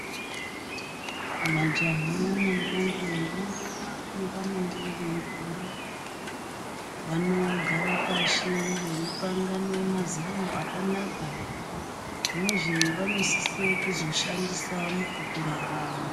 Majaha nentombi nenguva yavanenge veikura vanogare pashi veipangane mazano akanaka nezvavanosise kuzoshandise mukukura kwavo.